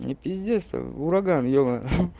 п ураган йога